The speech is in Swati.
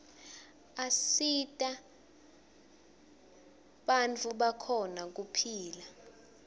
asita banifu bakhone kupihla